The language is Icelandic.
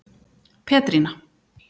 Petrína